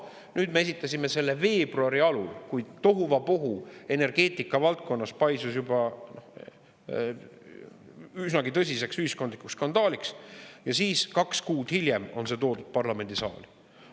Nüüd me esitasime selle veebruari alul, kui tohuvabohu energeetika valdkonnas paisus juba üsnagi tõsiseks ühiskondlikuks skandaaliks, ja siis kaks kuud hiljem on see toodud parlamendisaali.